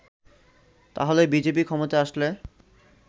তাহলে বিজেপি ক্ষমতায় আসলে